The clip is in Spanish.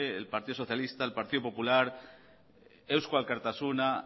el partido socialista el partido popular eusko alkartasuna